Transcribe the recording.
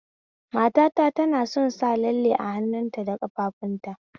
Matata tana son sa lalle a hannuta da ƙafafuwanta